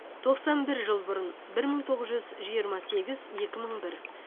тоқсан бір жыл бұрын бір мың тоғыз жүз жиырма сегіз екі мың бір